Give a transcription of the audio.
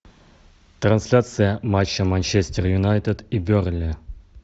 трансляция матча манчестер юнайтед и бернли